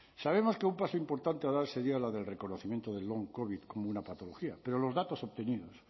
sabemos que un paso importante a dar sería la del reconocimiento del long covid como una patología pero los datos obtenidos